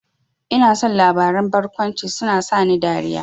Ina son labaran barkwanci, suna sani dariya